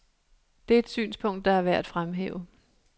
Det er et synspunkt, der er værd at fremhæve.